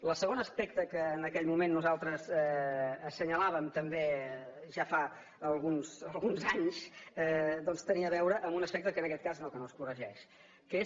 el segon aspecte que en aquell moment nosaltres assenyalàvem també ja fa alguns anys doncs tenia a veure amb un aspecte que en aquest cas no és que no es corregeix que és